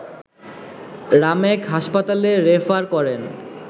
রামেক হাসপাতালে রেফার করেন